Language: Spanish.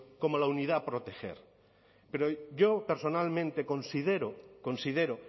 como la unidad a proteger pero yo personalmente considero considero